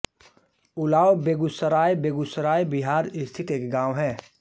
उलाव बेगूसराय बेगूसराय बिहार स्थित एक गाँव है